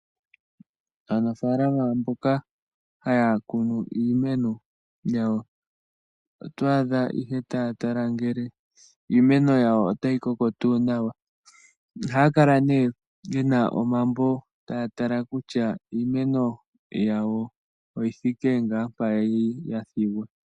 Aanafalama mboka haya kunu iimeno yawo, oto adha aluhe taya tala ngele iimeno yawo otayi koko tuu nawa. Oha ya kala ye na omambo taya tala kutya iimeno yawo oyi thike ngaa mpa kwali ya thigwa.